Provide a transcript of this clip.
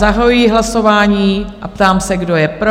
Zahajuji hlasování a ptám se, kdo je pro?